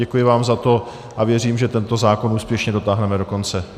Děkuji vám za to a věřím, že tento zákon úspěšně dotáhneme do konce.